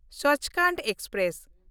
ᱥᱟᱪᱯᱷᱳᱨᱴ express